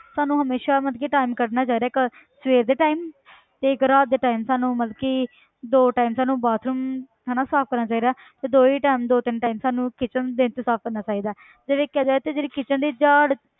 ਸਾਨੂੰ ਹਮੇਸ਼ਾ ਮਤਲਬ ਕਿ time ਕੱਢਣਾ ਚਾਹੀਦਾ ਘਰ ਸਵੇਰ ਦੇ time ਤੇ ਇੱਕ ਰਾਤ ਦੇ time ਸਾਨੂੰ ਮਤਲਬ ਕਿ ਦੋ time ਸਾਨੂੰ bathroom ਹਨਾ ਸਾਫ਼ ਕਰਨਾ ਚਾਹੀਦਾ ਹੈ ਤੇ ਦੋ ਹੀ time ਦੋ ਤਿੰਨ time ਸਾਨੂੰ kitchen ਦਿਨ 'ਚ ਸਾਫ਼ ਕਰਨਾ ਚਾਹੀਦਾ ਤੇ ਜਿਹੜੀ kitchen ਦੀ ਝਾੜ